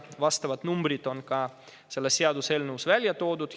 Vastavad summad on selles seaduseelnõus ka ära toodud.